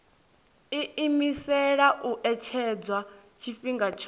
iimisela u etshedza tshifhinga tsho